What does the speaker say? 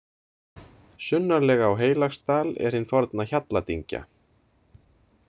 Sunnarlega á Heilagsdal er hin forna Hjalladyngja.